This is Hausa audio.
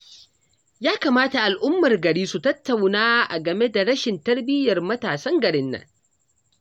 Ya kamata al'ummar gari su tattauna a game da rashin tarbiyyar matasan garin nan